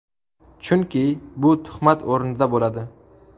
Chunki bu tuhmat o‘rnida bo‘ladi.